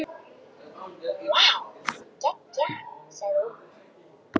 Þeir stönsuðu við garðshliðið hjá Erni.